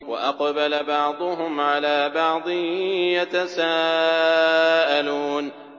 وَأَقْبَلَ بَعْضُهُمْ عَلَىٰ بَعْضٍ يَتَسَاءَلُونَ